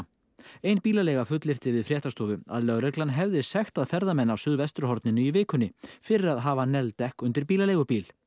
ein bílaleiga fullyrti við fréttastofu að lögreglan hefði sektað ferðamenn á suðvesturhorninu í vikunni fyrir að hafa negld dekk undir bílaleigubíl